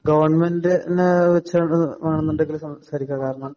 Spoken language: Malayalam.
ഗവണ്മെന്‍റിനെ വച്ച് ആണെന്നുണ്ടെങ്കില് സംസാരിക്കാം. കാരണം,